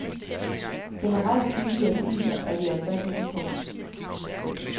Generelt billigere biler er vi altså ikke med på.